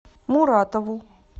муратову